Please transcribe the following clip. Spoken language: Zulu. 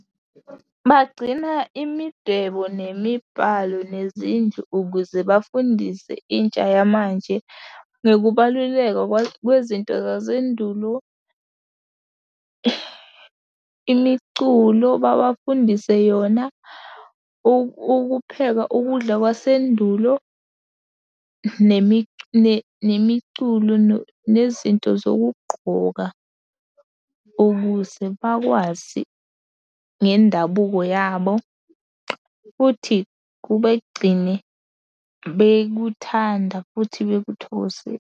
Bagcina imidwebo, nemibhalo, nezindlu ukuze bafundise intsha yamanje ngokubaluleka kwezinto zasendulo. Imiculo babafundise yona, ukupheka ukudla kwasendulo, nemiculo, nezinto zokugqoka, ukuze bakwazi ngendabuko yabo futhi kubagcine bekuthanda futhi .